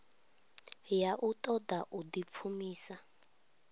ya u ṱoḓa u ḓipfumisa